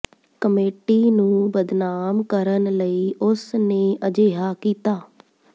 committee ਨੂੰ ਬਦਨਾਮ ਕਰਨ ਲਈ ਉਸ ਨੇ ਅਜਿਹਾ ਕੀਤਾ